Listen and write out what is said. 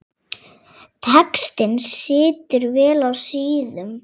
Textinn situr vel á síðum.